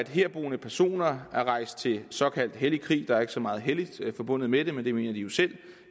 herboende personer er rejst til såkaldt hellig krig der er ikke så meget helligt forbundet med det men det mener de jo selv